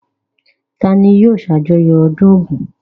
Ta ni yóò ṣàjọyọ̀ ọdún Ògún?